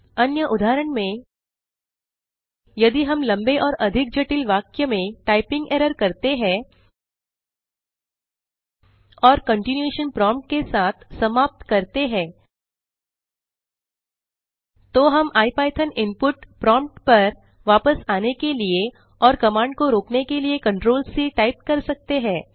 अन्य उदाहरण में यदि हम लंबे और अधिक जटिल वाक्य में टाइपिंग एरर करते हैं और कंटीन्यूएशन प्रोम्प्ट के साथ समाप्त करते हैं तो हम इपिथॉन इनपुट प्रोम्प्ट पर वापस आने के लिए और कमांड को रोकने के लिए ctrl सी टाइप कर सकते हैं